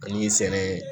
Ani sɛnɛ